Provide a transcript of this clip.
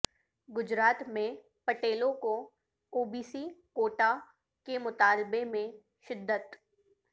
گجرات میں پٹیلوں کو او بی سی کوٹہ کے مطالبہ میں شدت